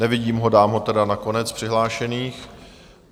Nevidím ho, dám ho tedy na konec přihlášených.